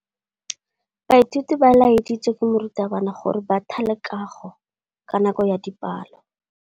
Baithuti ba laeditswe ke morutabana gore ba thale kagô ka nako ya dipalô.